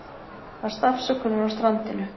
Baðst afsökunar á strandinu